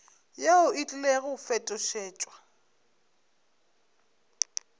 yeo e tlile go fetošetšwa